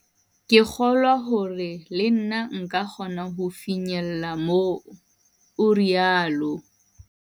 "Ke kgolwa hore le nna nka kgona ho fihlella moo," o rialo.